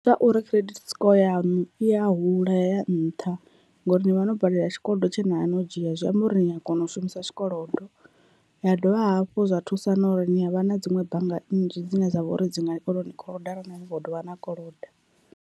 Ndi ngauri credit score yanu i ya hula ya ya nṱha ngauri ni vha no badelela tshikolodo tshe navha no dzhia zwi amba uri ni a kona u shumisa tshikolodo, ya dovha hafhu zwa thusa na uri ni avha na dziṅwe bannga nnzhi dzine dza vha uri dzi nga konau ni koloda arali ni kho dovha na koloda.